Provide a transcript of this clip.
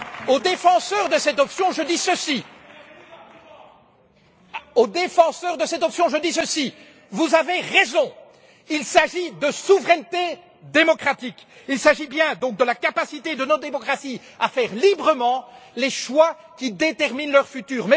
Aux défenseurs de cette option, je dis ceci vous avez raison, il s'agit de souveraineté démocratique, il s'agit bien donc de la capacité de nos démocraties à faire librement les choix qui déterminent leur futur.